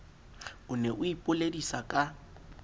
o ne o ipoledisa ka